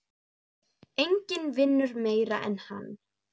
Enginn vinnur meira en hann.